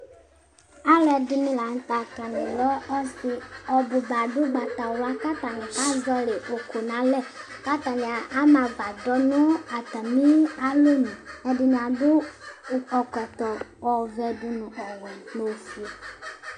Alɛdini la nu tɛ atani lɛ ɔsi ɔbuba adu ugbatawla ku atani kazɔli ukui nalɛli atani ama agbadɔ nu atamialɔ nu ɛdini adu ɛkɔtɔ ɔvɛ nu ɔwɛ nu ofue